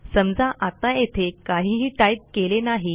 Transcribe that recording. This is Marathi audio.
समजा आत्ता येथे काहीही टाईप केले नाही